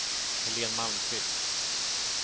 Helene Malmqvist